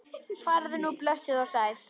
Farðu nú blessuð og sæl.